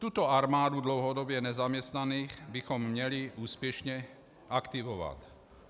Tuto armádu dlouhodobě nezaměstnaných bychom měli úspěšně aktivovat.